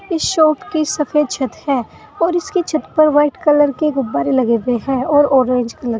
इस शॉप की सफेद छत है और इसकी छत पर व्हाइट कलर के गुब्बारे लगे हैं और ऑरेंज कलर --